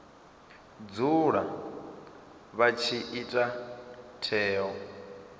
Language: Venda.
dzula vha tshi ita tsheo